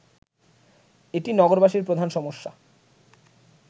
এটি নগরবাসীর প্রধান সমস্যা